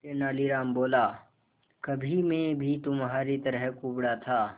तेनालीराम बोला कभी मैं भी तुम्हारी तरह कुबड़ा था